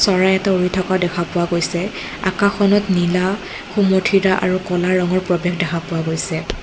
চৰাই এটা উৰি থকা দেখা পোৱা গৈছে আকাশখনত নীলা সুমথিৰা আৰু ক'লা ৰঙৰ প্ৰৱেশ দেখা পোৱা গৈছে।